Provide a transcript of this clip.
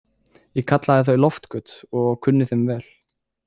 Ég kallaði þau loftgöt og kunni þeim vel.